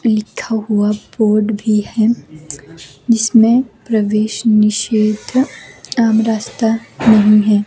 लिखा हुआ बोर्ड भी है जिसमें प्रवेश निषेध आम रास्ता नहीं है।